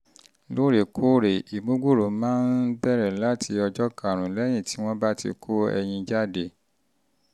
lóòrèkóòrè ìmúgbòòrò máa ń um bẹ̀rẹ̀ láti ọjọ́ karùn-ún lẹ́yìn tí um wọ́n bá um ti kó ẹyin jáde